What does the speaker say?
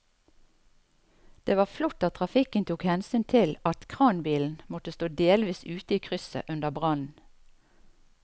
Det var flott at trafikken tok hensyn til at kranbilen måtte stå delvis ute i krysset under brannen.